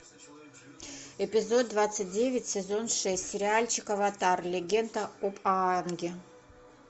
эпизод двадцать девять сезон шесть сериальчик аватар легенда об аанге